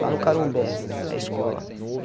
lá no Carumbé, a escola.